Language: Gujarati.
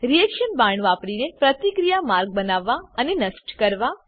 રીએક્શન બાણ વાપરીને પ્રતિક્રિયા માર્ગ બનાવવા અને નષ્ટ કરવા